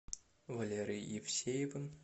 валерой евсеевым